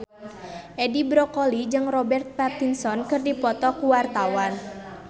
Edi Brokoli jeung Robert Pattinson keur dipoto ku wartawan